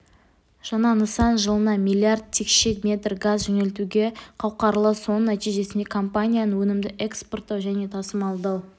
жаңа нысан жылына миллиард текше метр газ жөнелтуге қауқарлы соның нәтижесінде компанияның өнімді экспорттау және тасымалдау